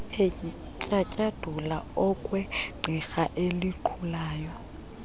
etyatyadula okwegqirha elinqulayo